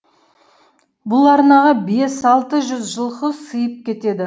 бұл арнаға бес алты жүз жылқы сыйып кетеді